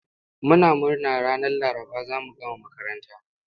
Muna murna ranar Laraba za mu gama makaranta.